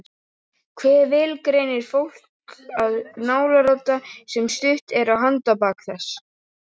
Hve vel greinir fólk að nálarodda sem stutt er á handarbak þess?